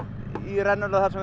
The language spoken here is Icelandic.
rennuna þar sem